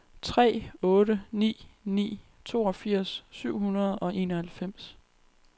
tre otte ni ni toogfirs syv hundrede og enoghalvfems